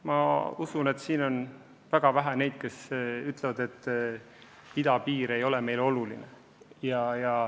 Ma usun, et siin on väga vähe neid, kes ütlevad, et idapiir ei ole meile oluline.